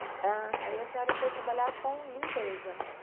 Ah, sim, aí a senhora foi trabalhar com limpeza.